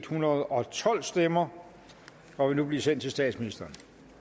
hundrede og tolv stemmer og vil nu blive sendt til statsministeren